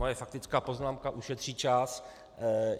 Moje faktická poznámka ušetří čas.